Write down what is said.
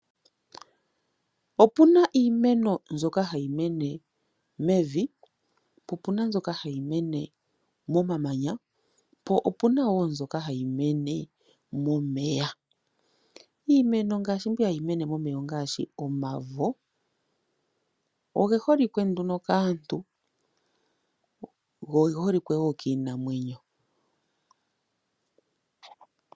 Opuna iimeno mbyoka hayi mene po opena mbyoka hayi mene momamanya po opuna woo mbyoka hayi mene momeya. Iimeno ngaashi mbi hayi mene momeya ongaashi omavo. Ogeholike nduno kaantu go geholike woo kiinamwenyo.